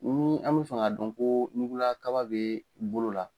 Ni an bɛ fɛ k'a dɔn ko ɲugula kaba bɛ bolo la